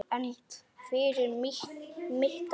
En fyrir mitt ár?